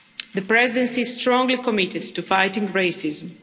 The Presidency is strongly committed to fighting racism.